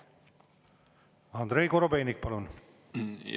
Andrei Korobeinik, palun!